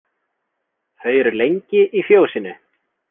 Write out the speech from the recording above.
Þau eru lengi í fjósinu.